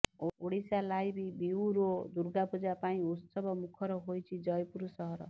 Odisha live bureau Durga Puja ପାଇଁ ଉତ୍ସବ ମୁଖର ହୋଇଛି ଜୟପୁର ସହର